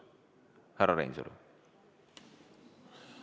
Härra Reinsalu!